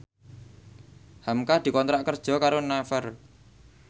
hamka dikontrak kerja karo Naver